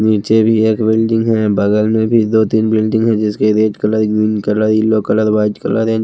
नीचे भी एक बिल्डिंग है बगल में भी दो तीन बिल्डिंग है जिसके red colour green colour yellow colour white colour and --